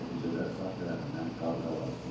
Nəticədə sağ tərəfindən qabırğaları sınıb.